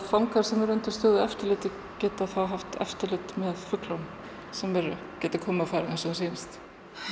fangar sem eru undir eftirliti geta haft eftirlit með fuglunum sem geta komið og farið eins og þeim sýnist